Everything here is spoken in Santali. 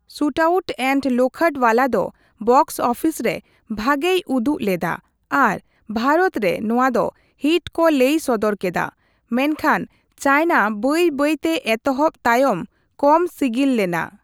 ᱥᱷᱩᱴᱟᱩᱴ ᱮᱱᱰ ᱞᱳᱠᱷᱚᱰᱵᱟᱞᱟ ᱫᱚ ᱵᱚᱠᱥ ᱚᱯᱷᱤᱥ ᱨᱮ ᱵᱷᱟᱹᱜᱤᱭ ᱩᱫᱩᱜ ᱞᱮᱫᱟ ᱟᱨ ᱵᱷᱟᱨᱚᱛ ᱨᱮ ᱱᱚᱣᱟ ᱫᱚ ᱦᱤᱴ ᱠᱚ ᱞᱟᱹᱭ ᱥᱚᱫᱚᱨ ᱠᱮᱫᱟ, ᱢᱮᱱᱷᱟᱱ ᱪᱟᱤᱱᱟ ᱵᱟᱹᱭ ᱵᱟᱹᱭ ᱛᱮ ᱮᱛᱚᱦᱚᱵ ᱛᱟᱭᱚᱢ ᱠᱚᱢ ᱥᱤᱜᱤᱞ ᱞᱮᱱᱟ᱾